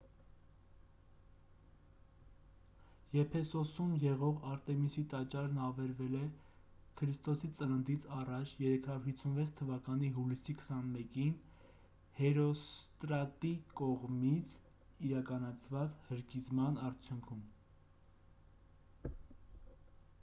եփեսոսում եղող արտեմիսի տաճարն ավերվել է ք.ծ.ա. 356 թվականի հուլիսի 21-ին հերոստրատի կողմից իրականացված հրկիզման արդյունքում